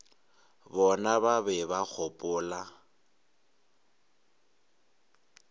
bona ba be ba gopola